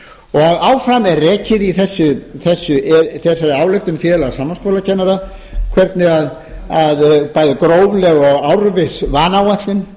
dag áfram er rekið í þessari ályktun félags framhaldsskólakennara hvernig bæði grófleg og árviss vanáætlun